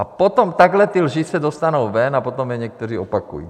A potom takhle ty lži se dostanou ven a potom je někteří opakují.